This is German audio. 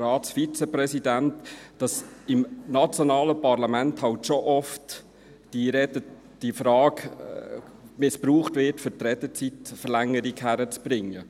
Ratsvizepräsidenten, noch nicht gesagt, dass im nationalen Parlament die Frage doch oft missbraucht wird, um eine Redezeitverlängerung hinzukriegen.